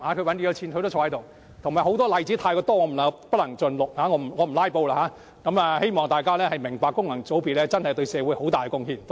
還有太多例子，恕我不能盡錄，因為我不想"拉布"，希望大家明白功能界別議員對社會真的有很大貢獻。